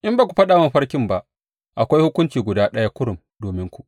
In ba ku faɗa mini mafarkin ba, akwai hukunci guda ɗaya kurum dominku.